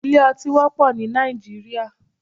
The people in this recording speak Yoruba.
Ilé ọtí wọ́pọ̀ ní Nàìjíríà